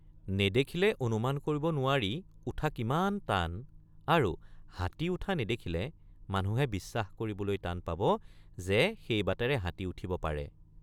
নেদেখিলে অনুমান কৰিব নোৱাৰি উঠা কিমান টান আৰু হাতী উঠ৷ নেদেখিলে মানুহে বিশ্বাস কৰিবলৈ টান পাব যে সেই বাটেৰে হাতী উঠিব পাৰে।